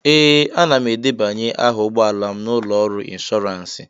Ee, ana m edebanye aha ụgbọ ala m na ụlọ ọrụ ịnshọọransị